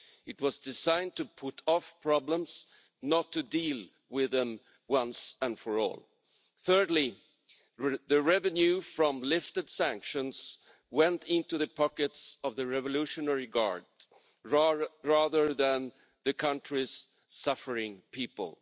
It was designed to put off problems, not to deal with them once and for all. Thirdly, the revenue from lifted sanctions went into the pockets of the revolutionary guard, rather than to the country's suffering people.